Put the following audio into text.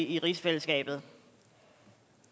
i rigsfællesskabet